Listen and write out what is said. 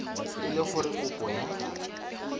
e le gore kopo ya